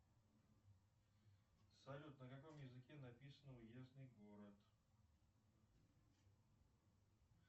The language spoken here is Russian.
салют на каком языке написан уездный город